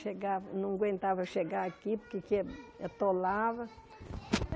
Chegava, não aguentava chegar aqui porque que atolava.